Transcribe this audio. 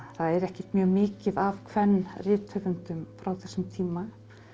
það er ekkert mjög mikið af kvenrithöfundum frá þessum tíma